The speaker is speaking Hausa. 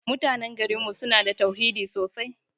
Mutanan garin mu suna da tauhidi sosai.